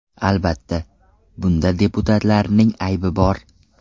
Albatta, bunda deputatlarning aybi bor.